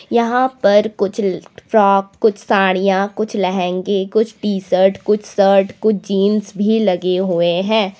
यहां पर कुछ फ्रॉक कुछ साड़ियां कुछ लहंगे कुछ टी शर्ट कुछ शर्ट कुछ जीन्स भी लगे हुए हैं।